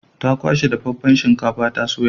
Ta kwashe dafaffen shinkafar ta soya.